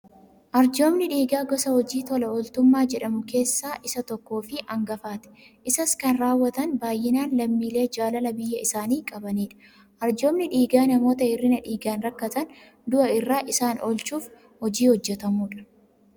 Arjoomni dhiigaa gosa hojii tola ooltummaa jedhamu keessaa isa tokko fi hangafaati. Isas kan raawwatan baayyinaan lammiilee jaalala biyya isaanii qabanidha. Arjoomni dhiigaa namoota hir'ina dhiigaan rakkatan du'a irraa isaan oolchuuf hojii hojjetamudha.